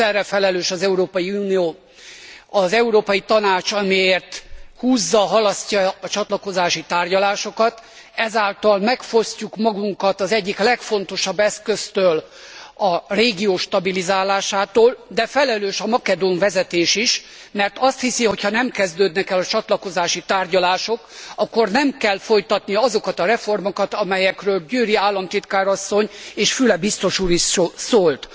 Egyszerre felelős az Európai Unió, az Európai Tanács, amiért húzza halasztja a csatlakozási tárgyalásokat, ezáltal megfosztjuk magunkat az egyik legfontosabb eszköztől, a régió stabilizálásától, de felelős a makedón vezetés is, mert azt hiszi, hogyha nem kezdődnek el a csatlakozási tárgyalások, akkor nem kell folytatnia azokat a reformokat, amelyekről Győri államtitkár asszony és Füle biztos úr is szólt.